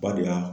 Ba de y'a